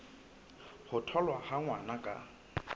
ho tholwa ha ngwana ka